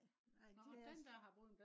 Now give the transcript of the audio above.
nej det også